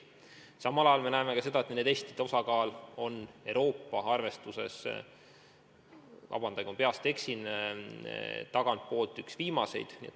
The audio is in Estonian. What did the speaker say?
Samal ajal me teame, et nende testide suhtarv on Euroopa arvestuses – vabandust, kui ma peast öeldes eksin – tagantpoolt üks viimaseid.